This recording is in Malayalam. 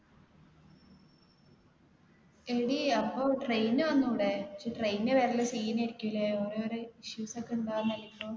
എടി അപ്പൊ train വന്നൂടെ പക്ഷെ train ൽ വരൽ scene ആയിരിക്കും ലെ ഓരോര് issues ഒക്കെ ഉണ്ടാവുന്നല്ലേ ഇപ്പൊ